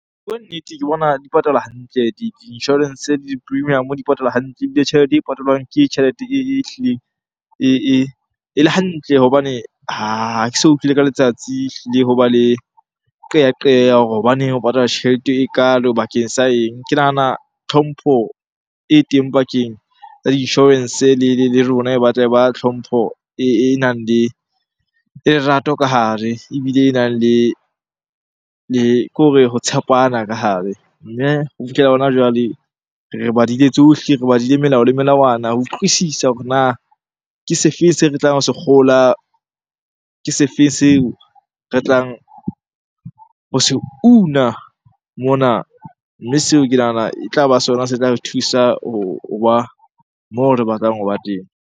Ho bua nnete ke bona di patala hantle di-insurance le di-premium-o di patala hantle ebile tjhelete e patalwang ke tjhelete ehlileng ele hantle. Hobane ha ke so utlwele ka letsatsi ehlile hoba le qeyaqeyo ya hore hobaneng o patala tjhelete ekalo bakeng sa eng? Ke nahana tlhompho e teng pakeng tsa insurance. Le rona e batla e ba tlhompho e nang le lerato ka hare ebile e nang le, kore ho tshepana ka hare. Mme ho fihlela hona jwale, re badile tsohle, re badile melao le melawana ho utlwisisa hore na ke se fe seo re tlang ho se kgola, ke se feng seo re tlang ho se una mona? Mme seo ke nahana e tlaba sona se tla re thusa hoba moo re batlang hoba teng.